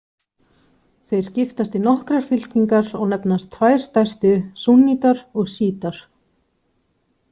Þeir skiptast í nokkrar fylkingar og nefnast tvær stærstu súnnítar og sjítar.